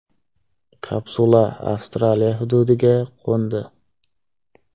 Kapsula Avstraliya hududiga qo‘ndi.